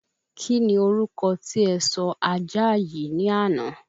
Kíni orúkọ tí ẹ sọ ajá yìí ni àná?